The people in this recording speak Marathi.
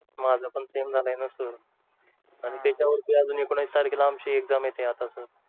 माझं पण same झालंय ना सर आणि त्याच्यावरती अजून एकोणवीस तारखेला आमची exam येतेय आता सर